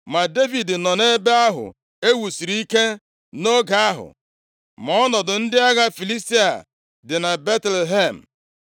Ma Devid nọ nʼebe ahụ ewusiri ike nʼoge ahụ, ma ọnọdụ ndị agha Filistia dị na Betlehem.